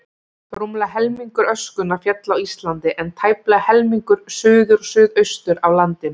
Rúmlega helmingur öskunnar féll á Íslandi, en tæplega helmingur suður og suðaustur af landinu.